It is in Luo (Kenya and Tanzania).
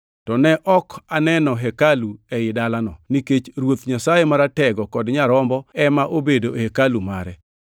To ne ok aneno hekalu ei dalano, nikech Ruoth Nyasaye Maratego kod Nyarombo ema obedo hekalu mare.